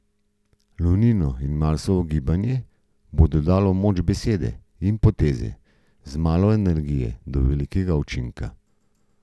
Lunino in Marsovo gibanje bo dodalo moč besede in poteze, z malo energije do velikega učinka.